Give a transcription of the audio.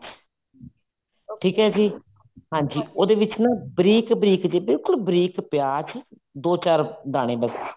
ਠੀਕ ਹੈ ਜੀ ਹਾਂਜੀ ਉਹਦੇ ਵਿੱਚ ਨਾ ਬਰੀਕ ਬਰੀਕ ਜੇ ਬਿਲਕੁਲ ਬਰੀਕ ਪਿਆਜ ਦੋ ਚਾਰ ਦਾਣੇ ਬੱਸ